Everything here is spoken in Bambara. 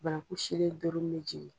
Bannanku silen doro min bɛ jigin.